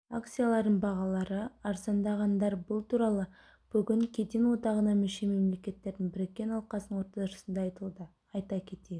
акцияларының бағалары арзандағандар бұл туралы бүгін кеден одағына мүше мемлекеттердің біріккен алқасының отырысында айтылды айта кетейік